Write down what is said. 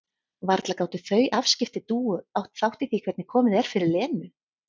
Varla gátu þau afskipti Dúu átt þátt í því hvernig komið er fyrir Lenu?